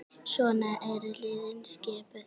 Svona eru liðin skipuð